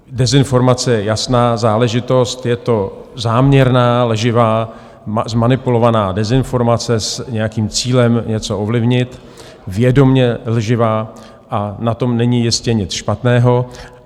Dezinformace je jasná záležitost, je to záměrná lživá, zmanipulovaná dezinformace s nějakým cílem něco ovlivnit, vědomě lživá, a na tom není jistě nic špatného.